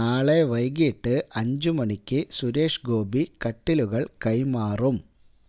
നാളെ വൈകിട്ട് അഞ്ചു മണിക്ക് സുരേഷ് ഗോപി കട്ടിലുകള് കൈമാറും